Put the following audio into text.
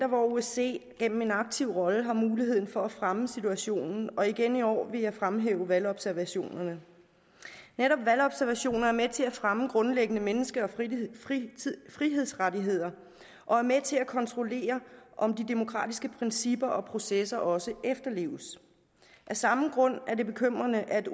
hvor osce gennem en aktiv rolle har muligheden for at fremme situationen og igen i år vil jeg fremhæve valgobservationerne netop valgobservationer er med til at fremme grundlæggende menneske og frihedsrettigheder og er med til at kontrollere om de demokratiske principper og processer også efterleves af samme grund er det bekymrende at